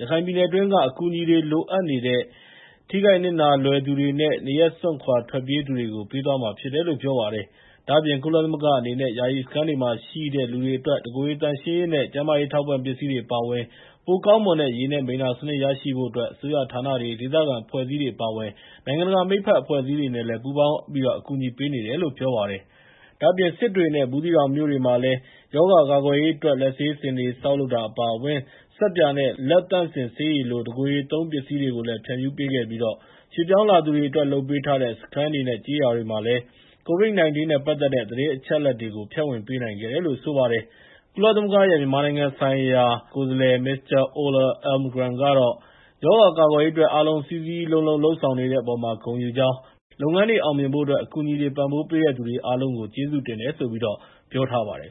ရခိုင်ပြည်နယ်တွင်းက အကူအညီတွေ လိုအပ်နေတဲ့ ထိခိုက်နစ်နာလွယ်သူတွေနဲ့ နေရပ်စွန့်ခွာ ထွက်ပြေးသူတွေကို ပေးသွားမှာဖြစ်တယ်လို့ ပြောထားပါတယ်။ ဒါ့အပြင် ကုလသမဂ္ဂအနေနဲ့ ယာယီစခန်းတွေမှာရှိတဲ့ လူတွေအတွက် တကိုယ်ရေသန့်ရှင်းရေးနဲ့ ကျန်းမာရေး အထောက်အပံ့ပစ္စည်းတွေ အပါအဝင် ပိုကောင်းမွန်တဲ့ ရေနဲ့ မိလ္လာစနစ် ရရှိစေဖို့အတွက် အစိုးရဌာနတွေ၊ ဒေသခံ အဖွဲ့အစည်းတွေ အပါအဝင် နိုင်ငံတကာ မိတ်ဖက်အဖွဲ့အစည်းတွေနဲ့လည်း ပူးပေါင်း အကူအညီပေးနေတယ်လို့ ပြောပါတယ်။ ဒါ့အပြင် စစ်တွေနဲ့ ဘူးသီးတောင်မြို့တွေမှာလည်း ရောဂါကာကွယ်ရေးအတွက် လက်ဆေးစင်တွေ ဆောက်လုပ်တာ အပါအဝင် ဆပ်ပြာနဲ့ လက်သန့်စင်ဆေးရည်လို တကိုယ်ရေသုံး ပစ္စည်းတွေကိုလည်း ဖြန့်ဖြူးပေးခဲ့ပြီး ရွှေ့ပြောင်းလာသူတွေအတွက် လုပ်ပေးထားတဲ့ စခန်းတွေနဲ့ ကျေးရွာတွေမှာလည်း COVID-19 နဲ့ပတ်သက်တဲ့ သတင်းအချက်အလက်တွေကို ဖြန့်ဝေပေးနိုင်ခဲ့တယ်လို့ ဆိုပါတယ်။ ကုလသမဂ္ဂရဲ့ မြန်မာနိုင်ငံဆိုင်ရာ ကိုယ်စားလှယ် Mr. Ola Almgren ကတော့ ရောဂါကာကွယ်ရေးအတွက် အားလုံး စည်းစည်းလုံးလုံး လုပ်ဆောင်နေတဲ့အပေါ်မှာ ဂုဏ်ယူကြောင်း၊ လုပ်ငန်းတွေအောင်မြင်ဖို့ အကူအညီတွေ ပံ့ပိုးပေးတဲ့သူတွေကို ကျေးဇူးတင်တယ်လို့လည်း ပြောထားပါတယ်